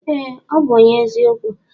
Ee ọbu ọnye eziokwu.